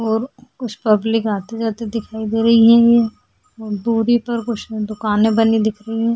और कुछ पब्लिक आते-जाते दिखाई दे रही हैं ये दूरी पर कुछ दुकानें बनी दिख रही हैं।